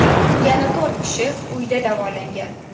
Yana to‘rt kishi uyda davolangan.